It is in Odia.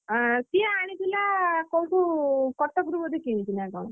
ଅଁ ସିଏ ଆଣିଥିଲା କୋଉଠୁ କଟକରୁ ବୋଧେ ସେ କିଣିଥିଲା କି କଣ?